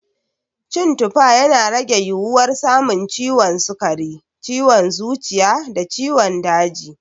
Cin tufa, yana rage yiwuwar samun ciwon sukari, ciwon zuciya da ciwon daji.